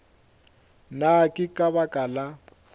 na ke ka baka la